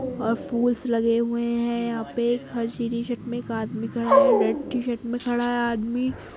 और फुल्स लगे हुए हैं यहाँ पे एक हरी सी टीशर्ट में एक आदमी खड़ा है रेड टीशर्ट में खड़ा है आदमी --